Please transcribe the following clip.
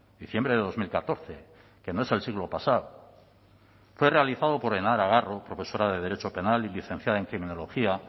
diciembre de dos mil catorce que no es el siglo pasado fue realizado por henar navarro profesora de derecho penal y licenciada en criminología